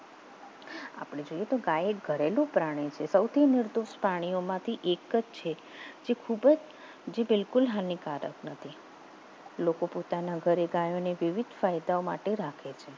આપણે જોઈએ તો ગાય ઘરેલુ પ્રાણી છે સૌથી મોટુ પ્રાણીમાંથી એક જ છે ખૂબ જ જે બિલકુલ હાનિકારક નથી લોકો પોતાના ઘરે ગાયોને કેવી સહિતાઓ માટે રાખે છે